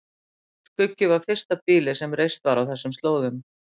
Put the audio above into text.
Skuggi var fyrsta býlið sem reist var á þessum slóðum.